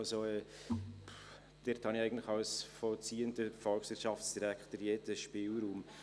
Also: Dort habe ich eigentlich als vollziehender Volkswirtschaftsdirektor jeden Spielraum.